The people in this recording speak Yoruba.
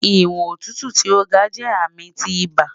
Iwọn otutu ti o ga jẹ ami ti iba